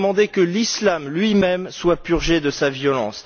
Il a demandé que l'islam lui même soit purgé de sa violence.